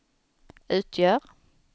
utgör